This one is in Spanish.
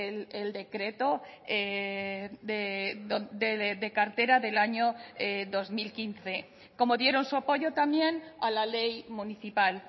el decreto de cartera del año dos mil quince como dieron su apoyo también a la ley municipal